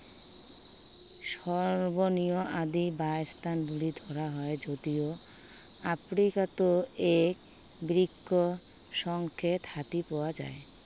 সৰ্বজনীয় আদি হাতীৰ বাসস্থান বুলি ধৰা হয় যদিও, আফ্ৰিকাতো এক বৃহৎ সংখ্য়ক হাতী পোৱা যায়া।